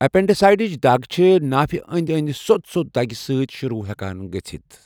اپینڈیسائٹسٕچ دگ چھِ نافہِ انٛدۍ انٛدۍ سوٚت سوٚت دگہِ سۭتۍ شروع ہٮ۪کان گژھتھ۔